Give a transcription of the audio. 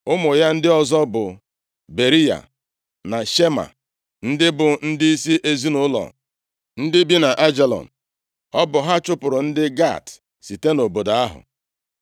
Ụmụ ya ndị ọzọ bụ Beriya, na Shema, ndị bụ ndịisi ezinaụlọ ndị bi nʼAijalon. Ọ bụ ha chụpụrụ ndị Gat site nʼobodo ahụ.